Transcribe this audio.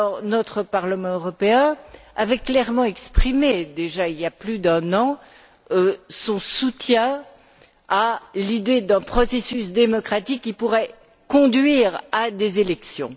Le Parlement européen avait clairement exprimé déjà, il y a plus d'un an, son soutien à l'idée d'un processus démocratique qui pourrait conduire à des élections.